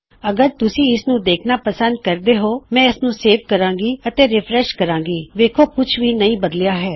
ਜਿਵੇ ਵੀ ਅਗਰ ਤੁਸੀਂ ਇਸਨੂੰ ਦੇਖਣਾ ਪੰਸਦ ਕਰਦੇ ਹੋਂ ਮੇਰਾ ਮਤੱਲਬ ਹੈ ਮੈਂ ਇਸਨੂੰ ਹੁਣ ਸੇਵ ਕਰਾਂਗਾ ਰਿਫਰੈਸ਼ ਕਰਾਂਗਾ ਅਤੇ ਫੇਰ ਕੁਛ ਵੀ ਨਹੀ ਬਦਲੀਆ